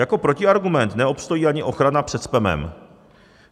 Jako protiargument neobstojí ani ochrana před spamem.